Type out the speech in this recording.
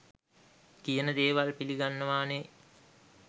කියන දේවල් පිලිගන්නවානේ